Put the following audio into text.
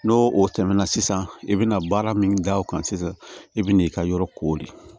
N'o o tɛmɛna sisan i bɛna baara min da o kan sisan i bɛ n'i ka yɔrɔ koori